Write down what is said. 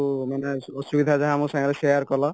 ମାନେ ଅସୁବିଧା ଯାହା ସବୁ share କଲ